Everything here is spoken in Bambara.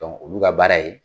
olu ka baara ye